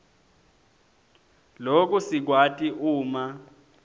loku sikwati uma